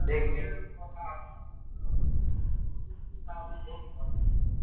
দেখবি